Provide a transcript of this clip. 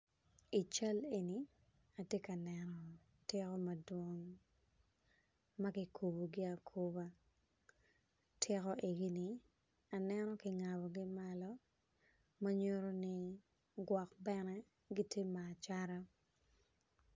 I cal eni atye ka neno otiko madwong magikubogi akuba otiko egini aneno kingabogi malo manyuto ni gwok bene gitye ma acata.